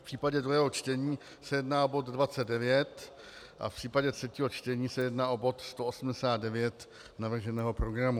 V případě druhého čtení se jedná o bod 29 a v případě třetího čtení se jedná o bod 189 navrženého programu.